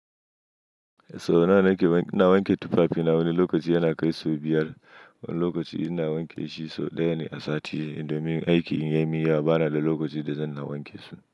So nan ake na wanke tufafi, na wani lokaci yana kai sau biyar. Wani lokaci ina wanke shiso ɗaya ne a sati. Indomie aiki in ya yi miya bana da lokaci da zan na wanke su.